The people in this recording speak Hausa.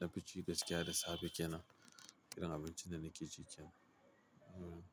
na fi ci gaskiya da safe kenan. Irin abincin da nake ci kenan.